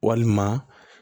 Walima